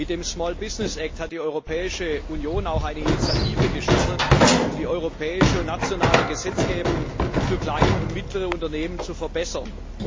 Mit dem Small Business Act hat die Europäische Union auch eine Initiative gestartet, um die europäische und nationale Gesetzgebung für kleine und mittlere Unternehmen zu verbessern.